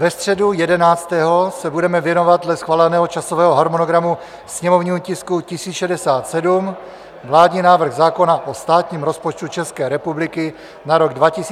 Ve středu 11. se budeme věnovat dle schváleného časového harmonogramu sněmovnímu tisku 1067, vládní návrh zákona o státním rozpočtu České republiky na rok 2021, prvé čtení.